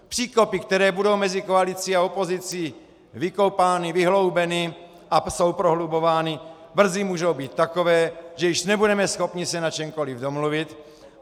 Příkopy, které budou mezi koalicí a opozicí vykopány, vyhloubeny a jsou prohlubovány, brzy můžou být takové, že již nebudeme schopni se na čemkoli domluvit.